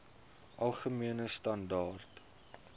algemene standaar